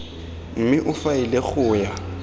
mme o faele go ya